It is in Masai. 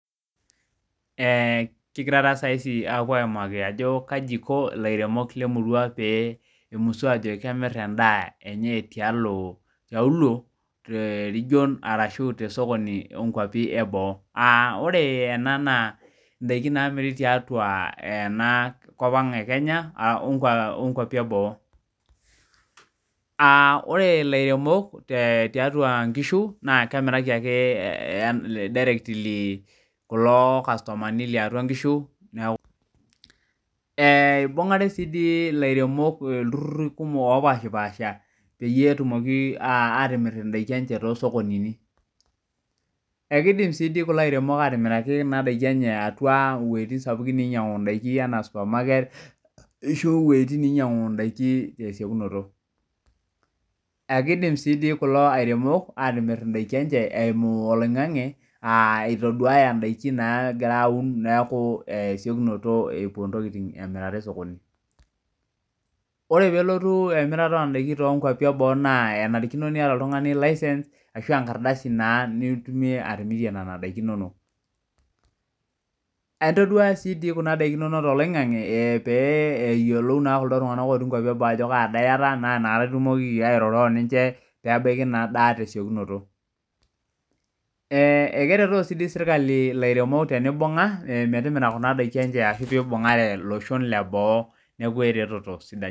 Ee kigira apuo aimaki ano kaji iko lairemok lemurua pemusu ajo kemir endaa tiali tosokoni enkuapi eboo ore ena naa ndakin naimiri tiatua enakop aang ekenya onkwapi eboo ore lairemok tiarua nkishu na kemiraki ake kulo kastomani lotii atua nkishu neaku ibungaru si lairemok iltururi kumok opaasha petumoki atimir ndaki enye tosokonini ekidim si kulo iremok atimiraki ndakin enye wuejitin sapukin anaa super market ishoo wuetin nainyangu ndakin tesiokinoto akidimi si atim indakin enye eimu oloingangi a itoduaya ndakin napuo amir emirare osokoni ore oelotu emirata ondakan teboo enarikino neeta oltungani licence nitunia timirie nona dakin inonok intumia si di kuja dakin ino toloingangu petumoki atadua ajo kaa daa iyata nitumoki airoro oninche pebaki inadaa tesiokinoto akeretoo sinye serkali metimira endaa enye ashu ibungare loshon leboo neaku eretoto sidai